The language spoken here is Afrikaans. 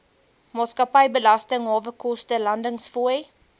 maatskappybelasting hawekoste landingsfooie